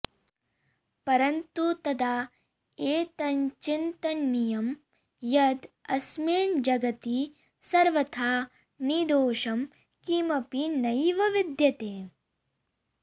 परन्तु तदा एतच्चिन्तनीयं यद् अस्मिन् जगति सर्वथा निर्दोषं किमपि नैव विद्यते